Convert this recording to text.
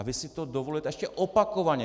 A vy si to dovolujete ještě opakovaně...